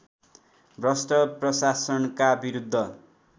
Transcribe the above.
भ्रष्ट प्रशासनका विरुद्ध